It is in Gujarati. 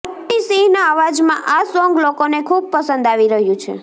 હની સિંહના અવાજમાં આ સોંગ લોકોને ખૂબ પસંદ આવી રહ્યું છે